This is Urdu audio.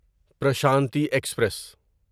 پرشانتی ایکسپریس